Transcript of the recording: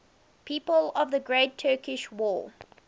people of the great turkish war